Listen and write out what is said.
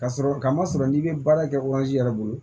Ka sɔrɔ ka ma sɔrɔ n'i bɛ baara kɛ yɛrɛ bolo